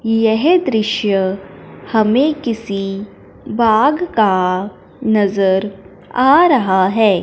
यह दृश्य हमें किसी बाग का नजर आ रहा है।